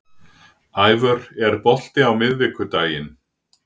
Ævör, er bolti á miðvikudaginn?